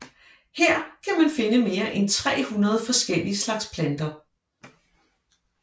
Her kan man finde mere end 300 forskellige slags planter